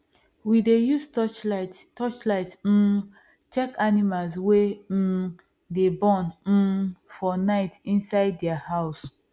we dey use torchlight torchlight um check animals wey um dey born um for night inside their house